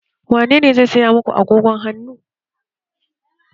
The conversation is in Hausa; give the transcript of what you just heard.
Wanene zai saya muku agogon hannu?